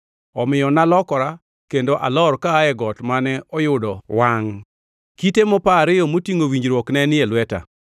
Omiyo nalokora kendo alor kaa e got mane oyudo wangʼ. Kite mopa ariyo motingʼo winjruok ne nitie e lweta.